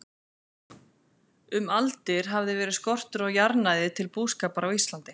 Um aldir hafði verið skortur á jarðnæði til búskapar á Íslandi.